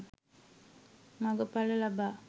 මඟ ඵල ලබා